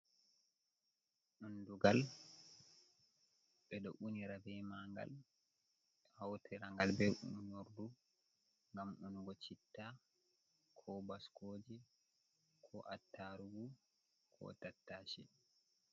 Undugal. Ɓe ɗo unira bee maɲgal, hautira ngal bee unordu ngam unugo chitta, ko baskooje ko attarugu ko tattase.